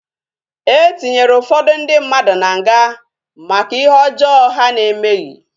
E tinyere ụfọdụ ndị mmadụ na nga maka ihe ọjọọ ha na-emeghị